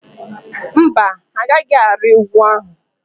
Mba, ha agaghị arị ugwu ahụ.